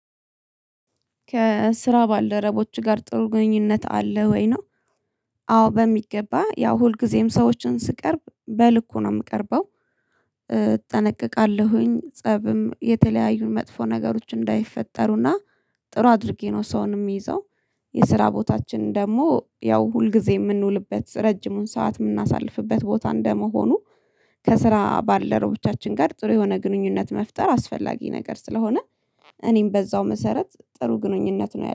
ከስራ ባልደረቦችህ ጋር ጥሩ ግንኙነት አለ ወይ? ነው አዎ በሚገባ ያው ሁልጊዜም ሰዎችን ስቀርብ በል እኮ ነው የምቀርበው እጠነቀቃለሁኝ ፀብም የተለያዩ መጥፎ ነገሮች እንዳይፈጠሩና ጥሩ አድርጌ ነው ሰውን የሚይዘው የስራ ቦታችን ደግሞ ያው ሁልጊዜ የምንውልበት ረጅሙን ሰዓት የምናሳልፍበት ቦታ እንደመሆኑ ከስራ ባልደረቦቻችን ጋር ጥሩ የሆነ ግንኙነት መፍጠር አስፈላጊ ነገር ስለሆነ እኔም በዛው መሰረት ጥሩ ግንኙነት ነው ያለኝ።